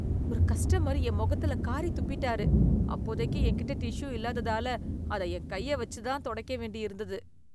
ஒரு கஸ்டமர் என் முகத்துல காறி துப்பிட்டாரு. அப்போதைக்கு என்கிட்ட டிஷ்யூ இல்லாததால அத என் கைய வச்சு தான் துடைக்க வேண்டியிருந்தது.